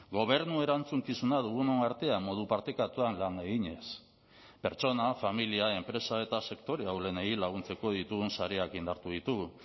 gobernu erantzukizuna dugunon artean modu partekatuan lan eginez pertsona familia enpresa eta sektore ahulenei laguntzeko ditugun sareak indartu ditugu